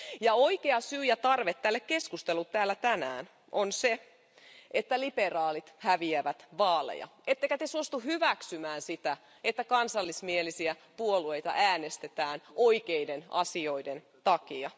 Ja oikea syy ja tarve tälle keskustelulle täällä tänään on se, että liberaalit häviävät vaaleja, ettekä te suostu hyväksymään sitä, että kansallismielisiä puolueita äänestetään oikeiden asioiden takia.